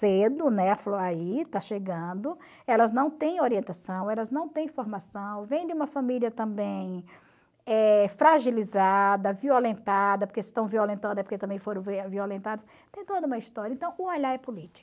Cedo, né, falou aí, está chegando, elas não têm orientação, elas não têm formação, vem de uma família também eh fragilizada, violentada, porque se estão violentando é porque também foram violentadas, tem toda uma história, então o olhar é político.